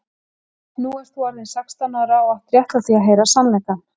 Nú ert þú orðin sextán ára og átt rétt á því að heyra sannleikann.